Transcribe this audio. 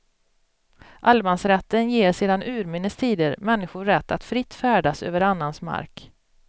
Allemansrätten ger sedan urminnes tider människor rätt att fritt färdas över annans mark.